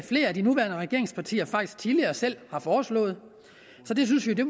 flere af de nuværende regeringspartier faktisk tidligere selv har foreslået så det synes vi